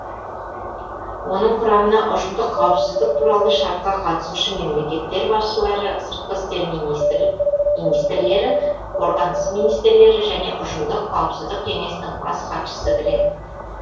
оның құрамына ұжымдық қауіпсіздік туралы шартқа қатысушы мемлекеттер басшылары сыртқы істер министрлері қорғаныс министрлері және ұжымдық қауіпсіздік кеңесінің бас хатшысы кіреді